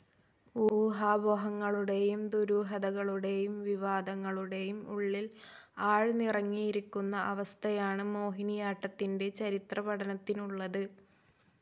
ഊഹാപോഹങ്ങളുടെയും ദുരൂഹതകളുടെയും വിവാദങ്ങളുടെയും ഉള്ളിൽ ആഴ്ന്നിറങ്ങിയിരിക്കുന്ന അവസ്ഥയാണ് മോഹിനിയാട്ടത്തിൻ്റെ ചരിത്രപഠനത്തിനുള്ളത്.